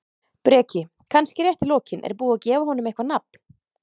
Breki: Kannski rétt í lokin, er búið að gefa honum eitthvað nafn?